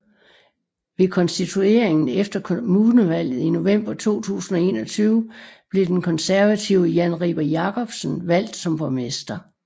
Ved konstitueringen efter kommunevalget i november 2021 blev den konservative Jan Riber Jakobsen valgst som borgmester